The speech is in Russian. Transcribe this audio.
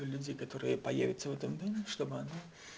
люди которые появятся в этом доме чтобы она